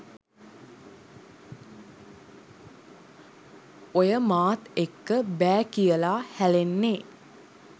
ඔය මාත් එක්ක බෑ කියලා හැලෙන්නේ